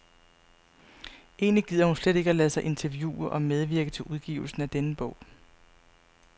Egentlig gider hun slet ikke at lade sig interviewe og medvirke til udgivelsen af denne bog.